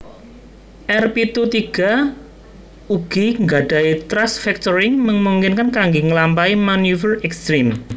R pitu tiga ugi nggadahi thrust vectoring memungkinkan kangge ngelampahi maneuver ekstrem